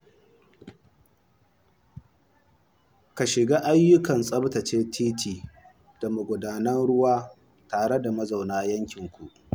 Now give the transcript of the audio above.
Ka shirya ayyukan tsaftace titi da magudanan ruwa tare da mazauna yankin.